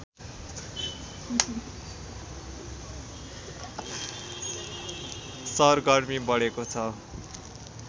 सरगर्मी बढेको छ